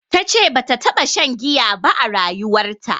Tace bata taɓa shan giya ba a rayuwarta